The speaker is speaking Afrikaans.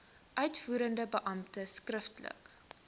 uitvoerende beampte skriftelik